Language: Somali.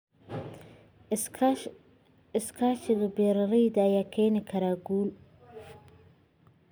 Iskaashiga beeralayda ayaa keeni kara guul.